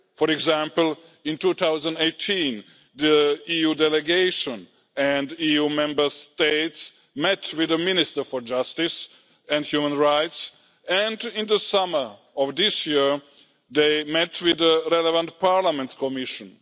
For example, in 2018, the EU Delegation and EU Member States met with the Minister for Justice and Human Rights and, in the summer of this year, they met with the relevant Parliament's Commission.